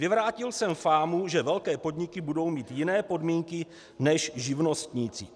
"Vyvrátil jsem fámu, že velké podniky budou mít jiné podmínky než živnostníci."